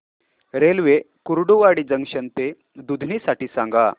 railway Kurduwadi junction ते दुधनी साठी सांगा